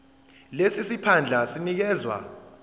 lesi siphandla sinikezwa